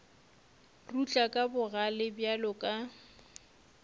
rutla ka bogale bjalo ka